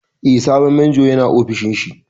Eh, sabon Majon ya na ofishin shi